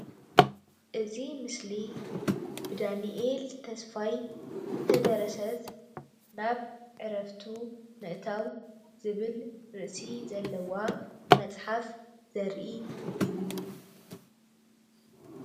እዚ ምስሊ ብዳንኤል ተስፋይ ዝተደረስት ናብ ዕረፍቱ ምእታዉ ዝብል ርእሲ ዘለዎ መፅሓፍ ዘርኢ እዩ፡፡